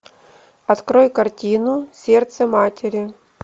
открой картину сердце матери